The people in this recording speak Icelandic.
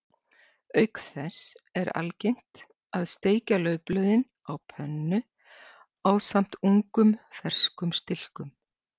Auk þess er algengt að steikja laufblöðin á pönnu ásamt ungum ferskum stilkum.